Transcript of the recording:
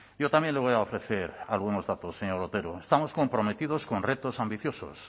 yo también le voy a ofrecer algunos datos señor otero estamos comprometidos con retos ambiciosos